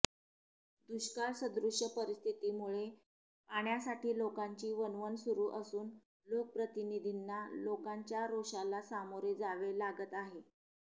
दुष्काळ सदृश्य परिस्थितीमुळे पाण्यासाठी लोकांची वणवण सुरु असून लोकप्रतिनिधींना लोकांच्या रोषाला सामोरे जावे लागत आहे